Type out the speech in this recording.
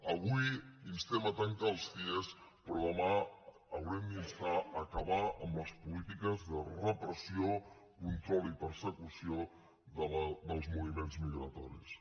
avui instem a tancar els cie però demà haurem d’instar a acabar amb les polítiques de repressió control i persecució dels moviments migratoris